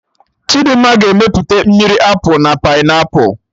Chidimma ga-emepụta mmiri Apụl na Painiapụlụ